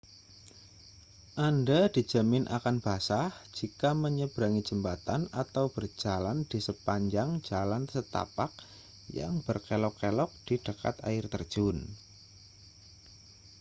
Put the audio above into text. anda dijamin akan basah jika menyeberangi jembatan atau berjalan di sepanjang jalan setapak yang berkelok-kelok di dekat air terjun